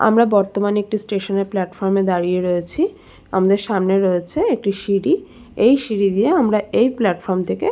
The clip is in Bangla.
আমরা বর্তমানে একটি স্টেশন -এর প্ল্যাটফর্ম -এ দাড়িঁয়ে রয়েছি আমাদের সামনে রয়েছে একটি সিঁড়ি এই সিঁড়ি দিয়ে আমরা এই প্ল্যাটফর্ম থেকে --